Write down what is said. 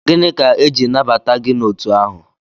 Gịnị ka eji nabata gị n'otu ahụ?